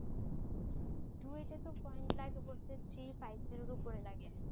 ডুয়েটে তো পয়েন্ট লাগে বলতে থ্রি ফাইভ জিরোর ওপরে লাগে